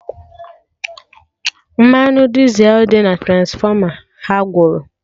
Mmanụ Dizel dị na Transfọma ha gwụrụ